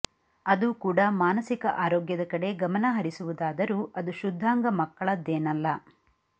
ಅದೂ ಕೂಡಾ ಮಾನಸಿಕ ಆರೋಗ್ಯದ ಕಡೆ ಗಮನ ಹರಿಸುವುದಾದರೂ ಅದು ಶುದ್ಧಾಂಗ ಮಕ್ಕಳದ್ದೇನಲ್ಲ